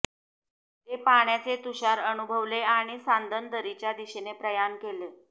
ते पाण्याचे तुषार अनुभवले आणि सांदण दरीच्या दिशेनं प्रयाण केलं